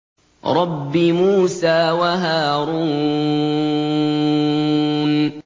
رَبِّ مُوسَىٰ وَهَارُونَ